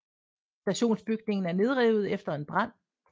Stationsbygningen er nedrevet efter en brand